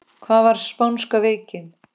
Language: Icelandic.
Hvað var spánska veikin?